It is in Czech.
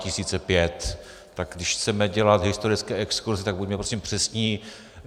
Tak když chceme dělat historické exkurzy, tak buďme prosím přesní.